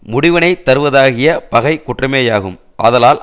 முடிவினைத் தருவதாகிய பகை குற்றமேயாகும் ஆதலால்